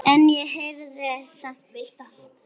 En ég heyrði það samt.